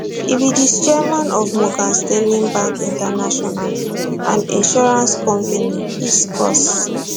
e be di chairman of morgan stanley bank international and insurance company hiscox